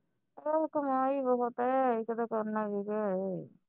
ਕਮਾਈ ਬਹੁਤ ਹੈ ਇਹ ਤਾਂ ਕਰਨਾ ਹੀ ਹੈ